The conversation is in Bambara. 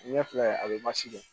Ɲɛ filɛ a bɛ dɔn